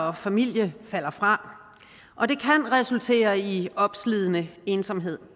og familie falder fra og det kan resultere i opslidende ensomhed